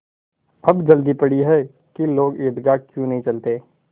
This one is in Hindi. अब जल्दी पड़ी है कि लोग ईदगाह क्यों नहीं चलते